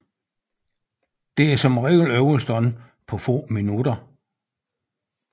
Den er som regel overstået på få minutter